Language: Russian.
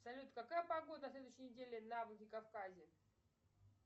салют какая погода на следующей неделе на владикавказе